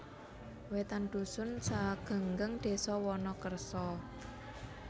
Wetan dusun Segenggeng desa Wonokerso